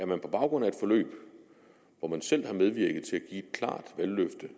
man på baggrund af et forløb hvor man selv har medvirket til et klart valgløfte